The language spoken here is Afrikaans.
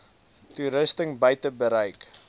toerusting buite bereik